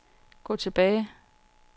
gå tilbage